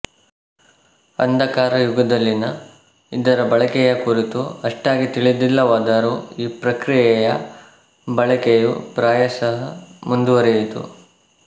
ಅಂಧಕಾರ ಯುಗದಲ್ಲಿನ ಇದರ ಬಳಕೆಯ ಕುರಿತು ಅಷ್ಟಾಗಿ ತಿಳಿದಿಲ್ಲವಾದರೂ ಈ ಪ್ರಕ್ರಿಯೆಯ ಬಳಕೆಯು ಪ್ರಾಯಶಃ ಮುಂದುವರಿಯಿತು